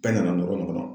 Bɛɛ nana nɔrɔ nin kɔnɔ